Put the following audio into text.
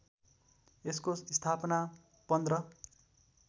यसको स्थापना १५